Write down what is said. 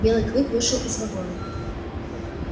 белый клык вышел из вагона